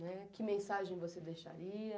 né. Que mensagem você deixaria?